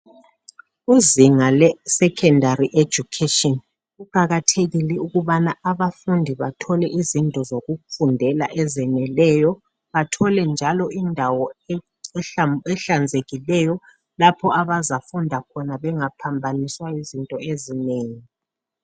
Kuzinga lesekhendari ejukheshini, kuqakathekile ukubana abafundi bathole izinto zokufundela ezeneleyo, bathole njalo indawo ehla ehlanzekileyo lapha abazafunda khona bengaphambaniswa yizinto ezinengi.